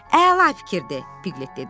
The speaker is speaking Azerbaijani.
Əla fikirdir, Piklit dedi.